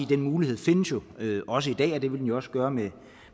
den mulighed findes jo også i dag og det vil jo den også gøre med